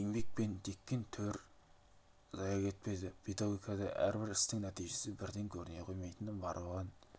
еткен еңбек пен теккен төр зая кетпеді педагогикада әрбір істің нәтижесі бірден көріне қоймайтыны бар оған